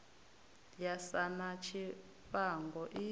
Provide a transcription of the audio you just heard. ya sa na tshifhango i